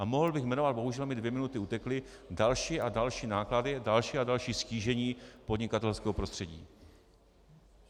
A mohl bych jmenovat, bohužel mi dvě minuty utekly, další a další náklady, další a další ztížení podnikatelského prostředí.